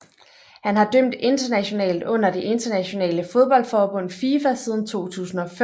Han har dømt internationalt under det internationale fodboldforbund FIFA siden 2005